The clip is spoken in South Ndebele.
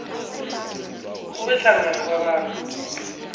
ube hlangana kwabantu